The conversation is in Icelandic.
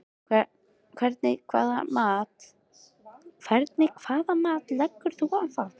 Hvernig hvaða mat leggur þú á það?